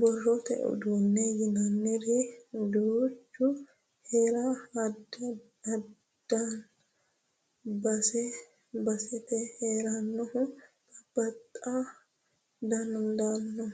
Borrote uduune yinanniri duuchu heera dandaano base basete heeranohu babbaxxa dandaano